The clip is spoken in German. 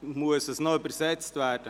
– Muss dies noch übersetzt werden?